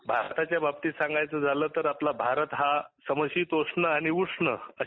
भारताच्या बाबतीत सांगायच झाल तर आपला भारत हा समशितोष्ण आणि उष्ण अशा